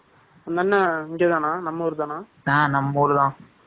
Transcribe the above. . அந்த அண்ணன், இங்கதானா? நம்ம ஊருதானா?